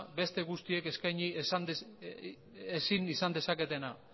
beste guztiek eskaini ezin izan dezaketena